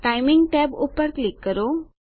timing tab પર click કરો